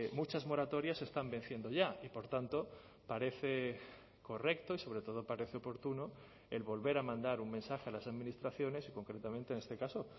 muchas moratorias están venciendo ya y por tanto parece correcto y sobre todo parece oportuno el volver a mandar un mensaje a las administraciones y concretamente en este caso